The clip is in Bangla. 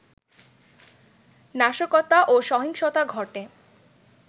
নাশকতা ও সহিংসতা ঘটে